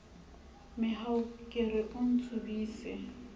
mehau ke re o ntsubise